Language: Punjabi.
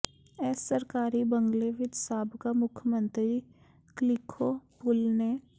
ਇਸ ਸਰਕਾਰੀ ਬੰਗਲੇ ਵਿਚ ਸਾਬਕਾ ਮੁੱੱਖਮੰਤਰੀ ਕਲਿਖੋ ਪੁਲ ਨੇ